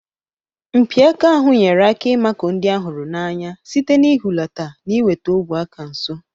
Mpi aka ahụ nyere aka ịmakụ ndị a hụrụ n'anya site n'ihulata na iweta ogwe aka nso.